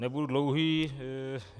Nebudu dlouhý.